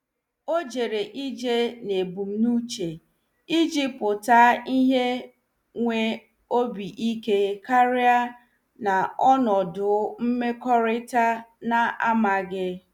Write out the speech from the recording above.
Ọ jere ije n'ebumnuche iji pụta ìhè nwee obi ike karị n'ọnọdụ mmekọrịta na-amaghị.